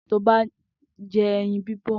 Toba n jẹ ẹyin bibọ